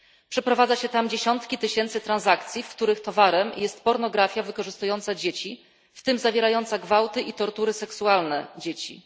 Przeprowadza się tam dziesiątki tysięcy transakcji, w których towarem jest pornografia wykorzystująca dzieci, w tym zawierająca gwałty i tortury seksualne dzieci.